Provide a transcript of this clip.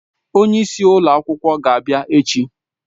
Onye isi ụlọ akwụkwọ ga-abịa echi.